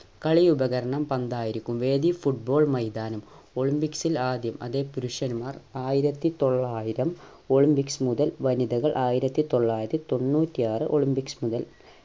കളി ഉപകരണം പന്ത് ആയിരിക്കും വേദി football മൈതാനം ഒളിംപിക്സിൽ ആദ്യം അതെ പുരുഷൻമാർ ആയിരത്തി തൊള്ളായിരം ഒളിംപിക്‌സ് മുതൽ വനിതകൾ ആയിരത്തി തൊള്ളായിരത്തിതൊണ്ണൂറ്റി ആറ് ഒളിംപിക്‌സ് മുതൽ